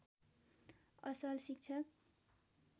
असल शिक्षक